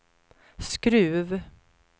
Skruv